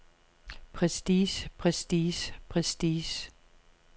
prestige prestige prestige